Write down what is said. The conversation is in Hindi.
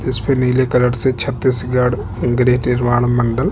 इस पर नीले कलर से छत्तीसगढ़ गृह निर्माण मंडल आपका--